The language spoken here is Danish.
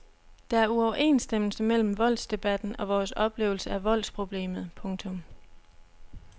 Der er uoverensstemmelse mellem voldsdebatten og vores oplevelse af voldsproblemet. punktum